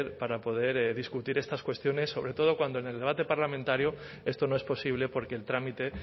para poder discutir estas cuestiones sobre todo cuando en el debate parlamentario esto no es posible porque el trámite